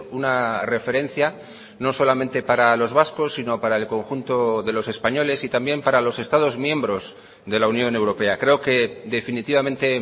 una referencia no solamente para los vascos sino para el conjunto de los españoles y también para los estados miembros de la unión europea creo que definitivamente